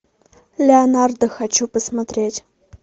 леонардо хочу посмотреть